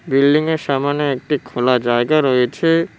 বিল্ডিংয়ের সামোনে একটি খোলা জায়গা রয়েছে।